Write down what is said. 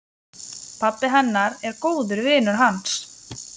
Pabbi hennar er góður vinur hans.